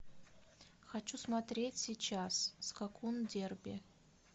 хочу смотреть сейчас скакун дерби